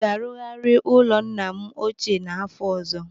Aga arugharị ụlọ ala nna m ochie n'afọ ọzọ.